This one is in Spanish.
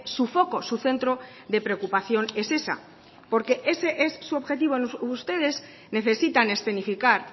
su foco su centro de preocupación es esa porque ese es su objetivo ustedes necesitan escenificar